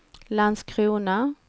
Landskrona